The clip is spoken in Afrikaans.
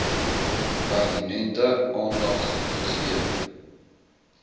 pertinente aandag gegee